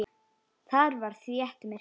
Þar var þétt myrkur.